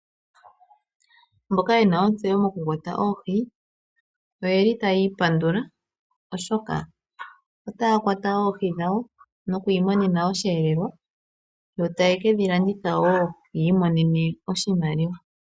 Mboka yena ontseyo mokukwata oohi oyeli taya ipandula oshoka otaya kwata oohi dhawo, noku imonena oshihelelwa. Yo taye kedhi landitha wo ya imonene oshimaliwa.